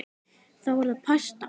Þá er það pasta.